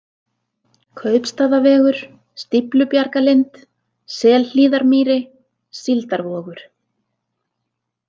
Kaupstaðavegur, Stíflubjargalind, Selhlíðarmýri, Síldarvogur